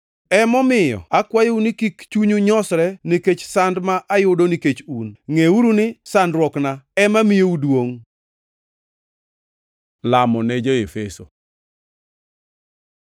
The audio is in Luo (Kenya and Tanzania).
Emomiyo akwayou ni kik chunyu nyosre nikech sand ma ayudo nikech un, ngʼeuru ni sandruokna ema miyou duongʼ. Lamo ne jo-Efeso